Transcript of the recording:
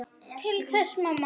Til hvers mamma?